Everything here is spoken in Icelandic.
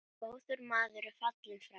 Góður maður er fallinn frá.